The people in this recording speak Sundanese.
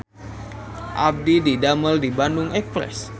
Abdi didamel di Bandung Express